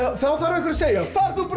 þá þarf einhver að segja far þú bara